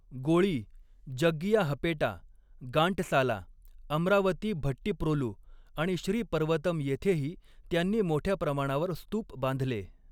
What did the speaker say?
गोळी, जग्गियाहपेटा, गांटसाला, अमरावती भट्टीप्रोलु आणि श्री पर्वतम येथेही त्यांनी मोठ्या प्रमाणावर स्तूप बांधले.